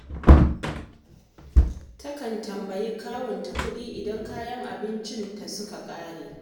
Takan tambayi kawunta kuɗi idan kayan abincin ta suka ƙare